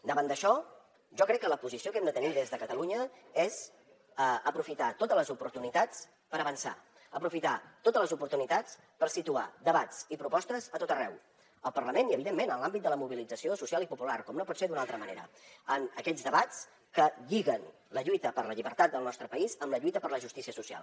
davant d’això jo crec que la posició que hem de tenir des de catalunya és aprofitar totes les oportunitats per avançar aprofitar totes les oportunitats per situar debats i propostes a tot arreu al parlament i evidentment en l’àmbit de la mobilització social i popular com no pot ser d’una altra manera en aquests debats que lliguen la lluita per la llibertat del nostre país amb la lluita per la justícia social